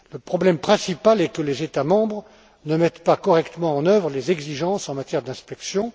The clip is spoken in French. Le problème principal est que les États membres ne mettent pas correctement en œuvre les exigences en matière d'inspection.